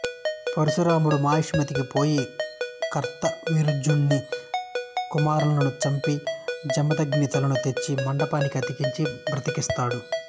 పరశురాముడు మాహిష్మతికి పోయి కార్తవీర్యార్జునుని కుమారులులను చంపి జమదగ్ని తలను తెచ్చి మెండానికి అతికించి బ్రతికిస్తాడు